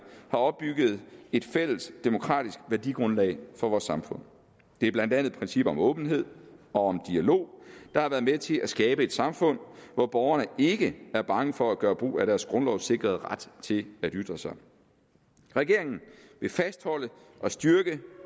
har opbygget et fælles demokratisk værdigrundlag for vores samfund det er blandt andet principper om åbenhed og dialog der har været med til at skabe et samfund hvor borgerne ikke er bange for at gøre brug af deres grundlovssikrede ret til at ytre sig regeringen vil fastholde og styrke